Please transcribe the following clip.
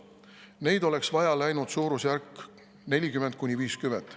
Neid oleks vaja läinud suurusjärgus 40–50.